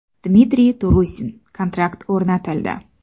Dmitriy Turusin: kontakt o‘rnatildi!.